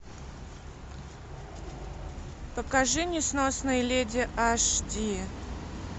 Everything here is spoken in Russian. покажи несносные леди аш ди